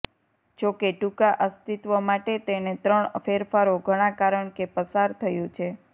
જોકે ટૂંકા અસ્તિત્વ માટે તેને ત્રણ ફેરફારો ઘણા કારણ કે પસાર થયું છે